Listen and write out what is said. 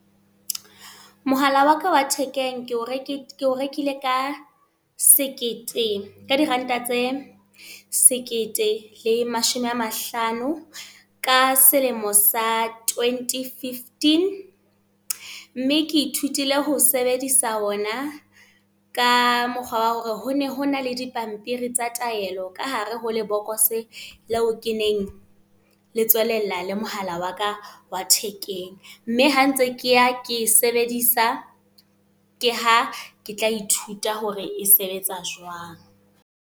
Mohala wa ka wa thekeng ke o rekile, ke o rekile ka sekete ka diranta tse sekete le mashome a mahlano. Ka selemo sa twenty-fifteen. Mme ke ithutile ho sebedisa ona, ka mokgwa wa hore ho ne ho na le dipampiri tsa taelo ka hare ho lebokoso leo ke neng le tswelella le mohala waka wa thekeng. Mme ha ntse ke ya ke sebedisa. Ke ha ke tla ithuta hore e sebetsa jwang.